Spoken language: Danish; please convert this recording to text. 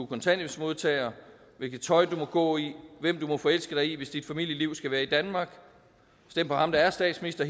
kontanthjælpsmodtager hvilket tøj du må gå i hvem du må forelske dig i hvis dit familieliv skal være i danmark stem på ham der er statsminister